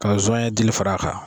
Ka zonɲɛ dili fara a kan.